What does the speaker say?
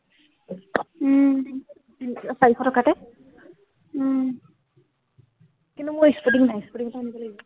উম চাৰিশ টকাতে উম কিন্তু, মোৰ স্পৰ্টিং নাই, স্পৰ্টিং আনিব লাগিব